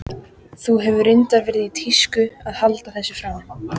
Það hefur reyndar verið í tísku að halda þessu fram.